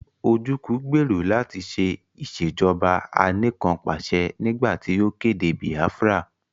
Ojúku gbèrò láti ṣe Ìṣèjọ́ba aníkanpàṣẹ nígbà tí ó kéde Biafra